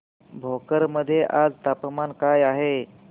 भोकर मध्ये आज तापमान काय आहे